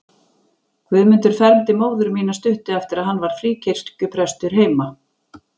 Guðmundur fermdi móður mína stuttu eftir að hann varð fríkirkjuprestur heima.